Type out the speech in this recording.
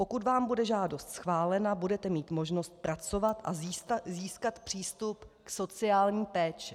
Pokud vám bude žádost schválena, budete mít možnost pracovat a získat přístup k sociální péči.